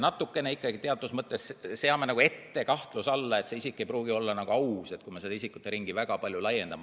Muidu me teatud mõttes seame nagu ette kahtluse alla, et isikud ei pruugi olla ausad, kui me seda isikuteringi väga palju laiendame.